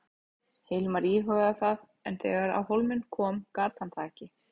Hilmar íhugaði það en þegar á hólminn kom gat hann það ekki.